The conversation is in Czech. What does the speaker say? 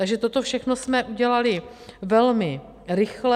Takže toto všechno jsme udělali velmi rychle.